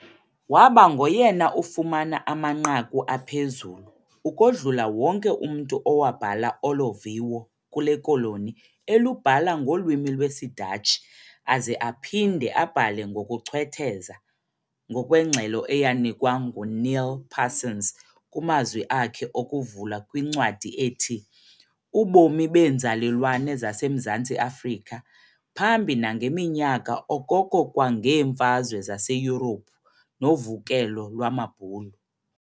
Waaba ngoyena ufumana amanqaku aphezulu ukodlula wonke umntu owabhala olo viwo kule Koloni elubhala ngolwimi lwesiDatshi aze aphinde abhale ngo kuchwetheza ngokwengxelo eyanikwa nguNeil Parsons kumazwi akhe okuvula kwincwadi ethi'Ubomi beenzalelwane zasemZantsi Afrika, Phambi nangeminyaka okoko kwangeemfazwe zaseYurophu novukelo lwamabhulu.